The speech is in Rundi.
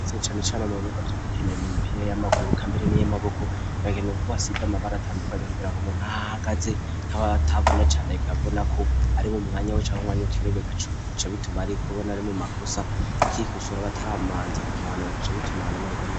Cane cane mu bibuga vyo gukina imipira y'amaguru kandi niy'amaboko, bariko basiga amabara atandukanaye kugira ngo umuntu ahahagaze habe hatabona cane akabonako ari mwu mwanya wo canke ariwo kugira acabonako ari mumakosa ace yikosora atarabanza kumuhana.